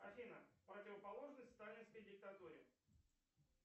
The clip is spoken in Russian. афина противоположность сталинской диктатуре